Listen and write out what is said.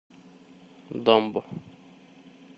дамба